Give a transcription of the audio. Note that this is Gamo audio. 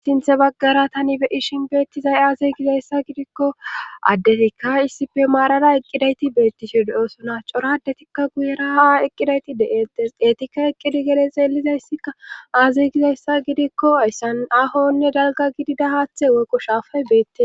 istinthe baggara tani beyishin beettizay aazey gizayssa gidikko addetikka issipe maarara eqqidayti beettisode oosona coradetikka guyera ha eqqidayti de7eettes eetikka eqqidi gede xeelizayssikka aazey gizayssa gidikko essan aahonne dalgkko shaafay beette